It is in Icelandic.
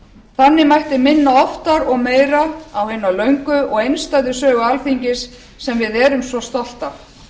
þannig mætti minna oftar og meira á hina löngu og einstæðu sögu alþingis sem við erum svo stolt af